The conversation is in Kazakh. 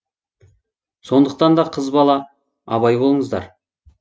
сондықтанда қыз бала абай болыңыздар